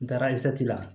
N taara la